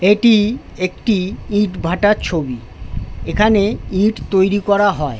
এইটি একটি ইট ভাটার ছবি | এখানে ইট তৈরি করা হয় ।